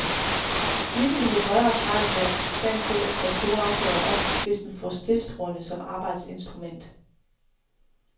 Kirken vil i højere grad være i stand til at tage store opgaver op, hvis den får stiftsrådene som arbejdsinstrument.